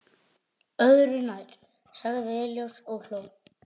Öðru nær, sagði Elías og hló.